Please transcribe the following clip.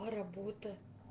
а работа